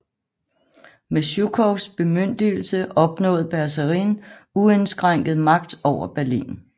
Med Sjukovs bemyndigelse opnåede Bersarin uindskrænket magt over Berlin